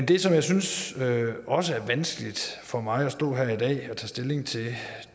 det som jeg synes også er vanskeligt for mig at stå her i dag og tage stilling til